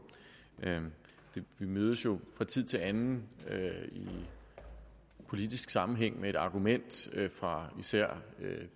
vi mødes jo fra tid til anden i politisk sammenhæng med et argument fra især